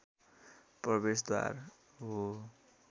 प्रवेशद्वार हो